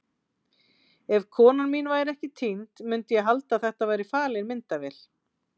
Ef konan mín væri ekki týnd myndi ég halda að þetta væri falin myndavél.